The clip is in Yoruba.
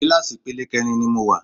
Kíláàsì ipele kẹrin ni mo wà.